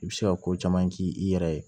I bɛ se ka ko caman k'i yɛrɛ ye